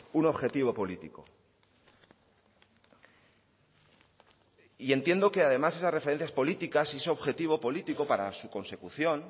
un objetivo político y entiendo que además esas referencias políticas y ese objetivo político para su consecución